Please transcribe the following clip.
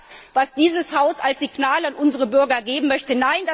Ist es das, was dieses Haus als Signal an unsere Bürger geben möchte?